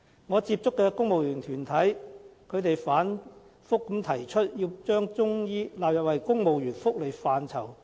我接觸的公務員團體反覆提出要求把中醫納入為公務員的福利範疇。